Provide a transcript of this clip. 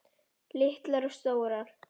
Litlar og stórar.